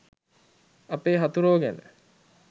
අපේ හතුරෝ ගැන